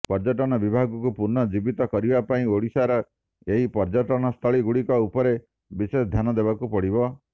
ପର୍ଯ୍ୟଟନ ବିଭାଗକୁ ପୁନଃ ଜୀବିତ କରିବା ପାଇଁ ଓଡିଶାର ଏହି ପର୍ଯ୍ୟଟନସ୍ଥଳୀ ଗୁଡିକ ଉପରେ ବିଶେଷ ଧ୍ୟାନ ଦେବାକୁ ପଡିବ